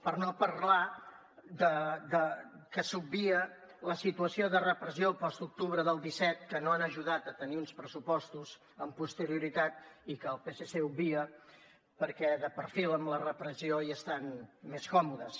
per no parlar que s’obvia la situació de repressió postoctubre del disset que no ha ajudat a tenir uns pressupostos amb posterioritat i que el psc obvia perquè de perfil amb la repressió hi estan més còmodes